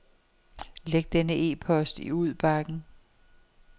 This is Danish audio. Læg denne e-post i udbakken.